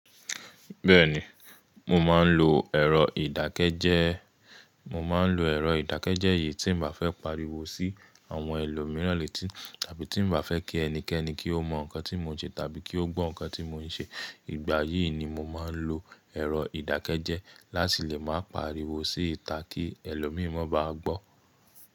Bẹ́ẹ̀ni, mo máa ń lo ẹ̀rọ ìdákẹ́jẹ́ẹ́. Mo máa ń lo ẹ̀rọ ìdákẹ́jẹ́ẹ́ yìí tí n bá fẹ́ pariwo sí àwọn ẹlòmíràn létí tàbí tí n bá fẹ́ kí ẹnikẹ́ni kí ó mọ ǹkan tí mo ń ṣe tàbí kí ó gbọ́ ǹkan tí mo ń ṣe. Ìgbà yìí ni mo máa ń lo ẹ̀rọ ìdákẹ́jẹ́ẹ́ láti lè máa pariwo sí ita kí ẹlòmíi máa ba gbọ́.